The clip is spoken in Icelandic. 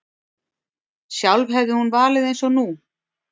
Sjálf hefði hún valið eins nú.